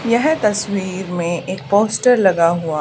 यह तस्वीर में एक पोस्टर लगा हुआ--